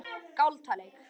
Galtalæk